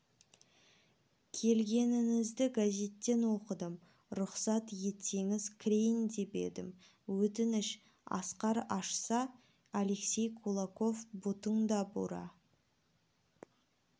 келгеніңізді газеттен оқыдым рұқсат етсеңіз кірейін деп едім өтініш асқар ашса алексей кулаков бұтында бура